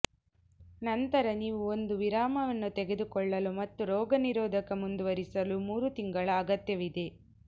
ನಂತರ ನೀವು ಒಂದು ವಿರಾಮವನ್ನು ತೆಗೆದುಕೊಳ್ಳಲು ಮತ್ತು ರೋಗನಿರೋಧಕ ಮುಂದುವರಿಸಲು ಮೂರು ತಿಂಗಳ ಅಗತ್ಯವಿದೆ